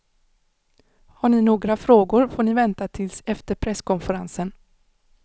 Har ni några frågor får ni vänta tills efter presskonferensen.